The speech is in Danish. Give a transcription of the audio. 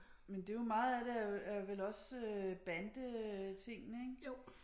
Men det er jo meget er det er vel også bandetingene ikke